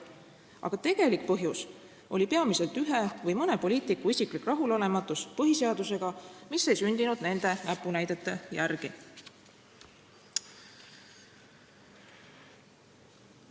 Aga tegelik põhjus oli peamiselt ühe poliitiku isiklik rahulolematus põhiseadusega, mis ei olnud sündinud tema näpunäidete järgi.